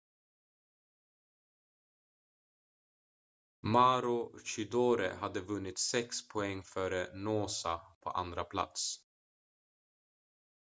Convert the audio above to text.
maroochydore hade vunnit sex poäng före noosa på andra plats